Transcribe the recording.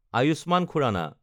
Ayushman Khurana